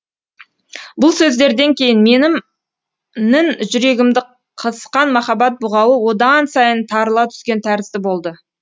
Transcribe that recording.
бұл сөздерден кейін менім нің жүрегімді қысқан махаббат бұғауы одан сайын тарыла түскен тәрізді болды